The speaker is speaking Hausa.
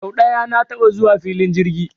Sau ɗaya na taɓa zuwa filin jirgi